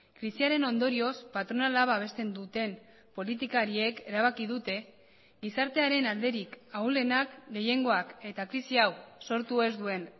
krisiaren ondorioz patronala babesten duten politikariek erabaki dute gizartearen alderik ahulenak gehiengoak eta krisi hau sortu ez duen